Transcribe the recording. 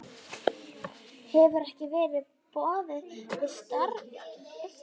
Hefur ekki verið boðið starfið